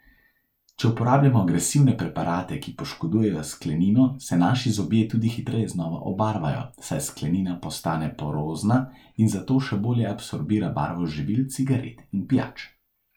Če uporabljamo agresivne preparate, ki poškodujejo sklenino, se naši zobje tudi hitreje znova obarvajo, saj sklenina postane porozna in zato še bolje absorbira barvo z živil, cigaret in pijač.